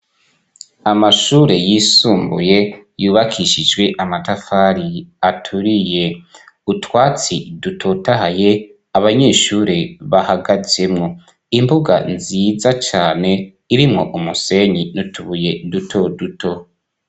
Amashure yisumbuye yubakishijwe amatafari aturiye, utwatsi dutotahaye abanyeshure bahagazemwo, imbuga nziza cane irimwo umusenyi n'utubuye duto duto.